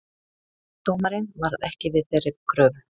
Dómarinn varð ekki við þeirri kröfu